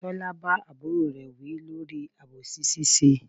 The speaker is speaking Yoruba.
Tọ́lá bá àbúrò rè wí lórí àbòsí ṣíṣe.